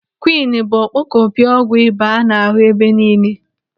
Kwiini bụ ọkpọkọpi ọgwụ ịba a na-ahụ ebe niile.